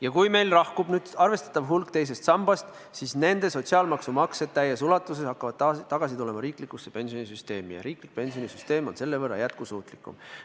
Ja kui meil lahkub nüüd arvestatav hulk teisest sambast, siis nende sotsiaalmaksu maksjad hakkavad täies ulatuses tagasi tulema riiklikusse pensionisüsteemi ja riiklik pensionisüsteem on selle võrra jätkusuutlikum.